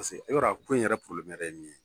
i b'a dɔn a ko in yɛrɛ ye min ye